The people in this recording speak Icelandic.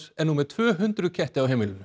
er nú með tvö hundruð ketti á heimilinu